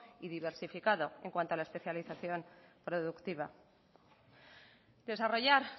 y diversificado en cuanto a la especialización productiva desarrollar